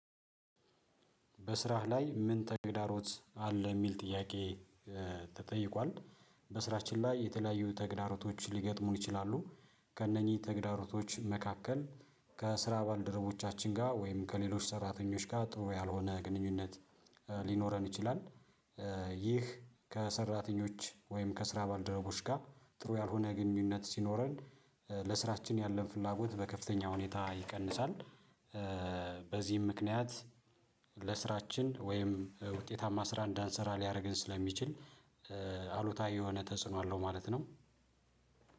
በስራህ ላይ ምን ተግዳሮት አለ የሚል ጥያቄ? ተጠይቋል። በስራችን ላይ የተለያዩ ተግዳሮቶች ሊገጥሙን ይችላሉ። ከእነኚህ ተግዳሮቶች መካከል ከስራ ባልደረቦቻችን ጋር ወይም ከሌሎች ሰራተኞች ጋር ጥሩ ያልሆነ ግንኙነት ሊኖረን ይችላል። ይህ ከሰራተኞች ወይም ከስራ ባልደረቦች ጋር ጥሩ ያልሆነ ግንኙነት ሲኖረን ለስራችን ያለን ፍላጎት በከፍተኛ ሁኔታ ይቀንሳል። በዚህም ምክንያት ለስራችን ወይም ውጤታማ ስራ እንዳንሰራ ሊያደርግን ስለሚችል አሉታዊ የሆነ ተጽዕኖ አለው። ማለት ነው።